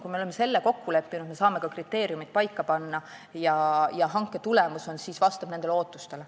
Kui me oleme selle kokku leppinud, siis me saame ka kriteeriumid paika panna ja hanke tulemus vastab ootustele.